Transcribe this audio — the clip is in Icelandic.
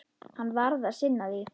Hann varð að sinna því.